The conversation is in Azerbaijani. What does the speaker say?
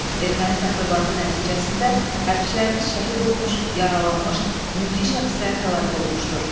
Erməni təxribatı nəticəsində hərçilərimiz şəhid olmuş, yaralanmış, mülki şəxslər həlak olmuşdur.